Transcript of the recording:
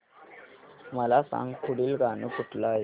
मला सांग पुढील गाणं कुठलं आहे